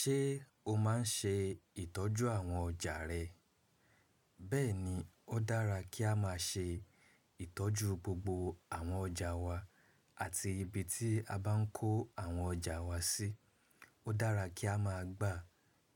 Ṣé o máa ń ṣe ìtọ́jú àwọn ọjà rẹ? Bẹ́ẹ̀ni, ó dára kí a má ṣe ìtọ́jú gbogbo àwọn ọjà wa àti ibi tí a bá ń kó àwọn ọjà wa sí. Ó dára kí a máa gbà